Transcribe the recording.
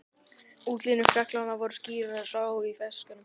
Útlínur fjallanna voru skýrar að sjá í fjarskanum.